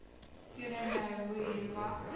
teenoor me vuyelwa